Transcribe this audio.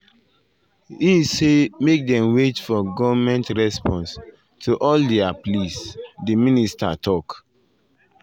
e say make dem wait for goment response to all dia dia pleas” di minister tok.